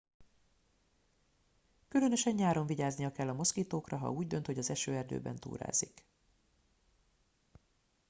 különösen nyáron vigyáznia kell a moszkitókra ha úgy dönt hogy az esőerdőben túrázik